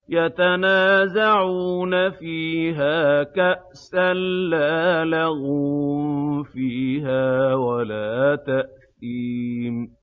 يَتَنَازَعُونَ فِيهَا كَأْسًا لَّا لَغْوٌ فِيهَا وَلَا تَأْثِيمٌ